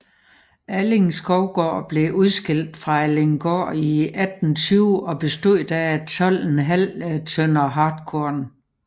Alling Skovgård blev udskilt fra Allinggård i 1820 og bestod da af 12½ tønder hartkorn